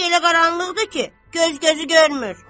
Eşik elə qaranlıqdır ki, göz gözü görmür.